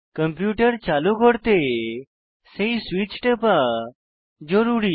computer চালু করতে সেই সুইচ টেপা জরুরী